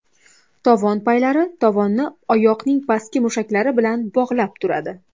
Tovon paylari tovonni oyoqning pastki mushaklari bilan bog‘lab turadi.